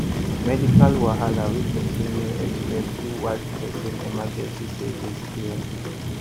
medical wahala wey person no expect fit wipe person emergency savings clean